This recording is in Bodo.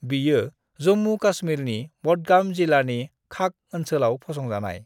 बियो जम्मू-कश्मीरनि बडगाम जिलानि खाग ओनसोलाव फसंजानाय।